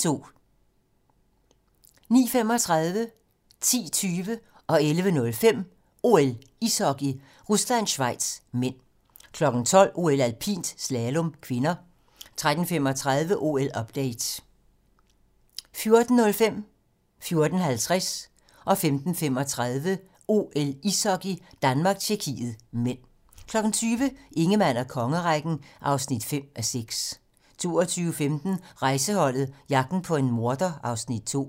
09:35: OL: Ishockey - Rusland-Schweiz (m) 10:20: OL: Ishockey - Rusland-Schweiz (m) 11:05: OL: Ishockey - Rusland-Schweiz (m) 12:00: OL: Alpint - slalom (k) 13:35: OL-update 14:05: OL: Ishockey - Danmark-Tjekkiet (m) 14:50: OL: Ishockey - Danmark-Tjekkiet (m) 15:35: OL: Ishockey - Danmark-Tjekkiet (m) 20:00: Ingemann og kongerækken (5:6) 22:15: Rejseholdet - jagten på en morder (Afs. 2)